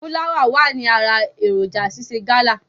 Fúláwà wà ní ara èròǹjà ṣíṣe gálà.